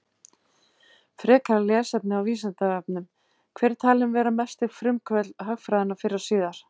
Frekara lesefni á Vísindavefnum: Hver er talinn vera mesti frumkvöðull hagfræðinnar fyrr og síðar?